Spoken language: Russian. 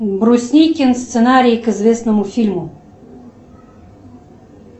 брусникин сценарий к известному фильму